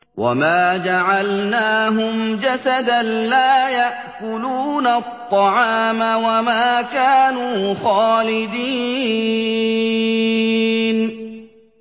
وَمَا جَعَلْنَاهُمْ جَسَدًا لَّا يَأْكُلُونَ الطَّعَامَ وَمَا كَانُوا خَالِدِينَ